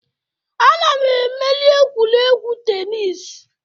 Ana m emeri egwuregwu tenis